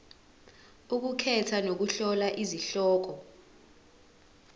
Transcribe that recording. ukukhetha nokuhlola izihloko